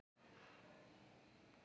Hvernig getur svona gerst?